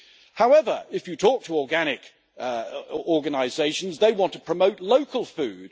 However, if you talk to organic organisations, they want to promote local food